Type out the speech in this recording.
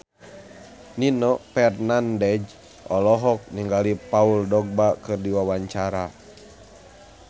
Nino Fernandez olohok ningali Paul Dogba keur diwawancara